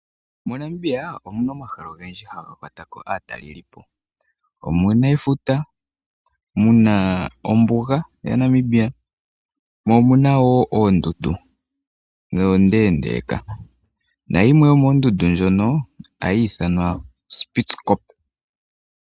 MoNamibia omuna omahala ogendji haga kwatako aatalelipo. Omuna efuta, muna ombuga yaNamibia, mo omuna wo oondundu ndhono oondeendeeka, nayimwe yomoondundu ndhono, ohayi ithanwa o Spitzkope.